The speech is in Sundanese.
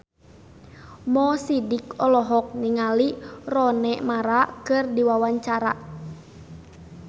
Mo Sidik olohok ningali Rooney Mara keur diwawancara